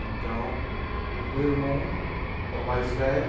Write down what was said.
Então, o meu irmão é o mais velho.